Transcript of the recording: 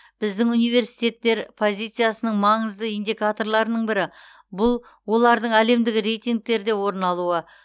біздің университеттер позициясының маңызды индикаторларының бірі бұл олардың әлемдік рейтингтерде орын алуы